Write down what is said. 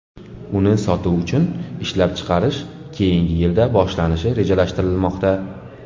Uni sotuv uchun ishlab chiqarish keyingi yilda boshlanishi rejalashtirilmoqda.